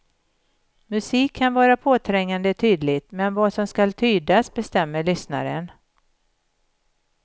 Musik kan vara påträngande tydlig men vad som skall tydas bestämmer lyssnaren.